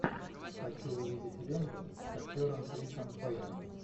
хочу увидеть ленту с актером крисом пайном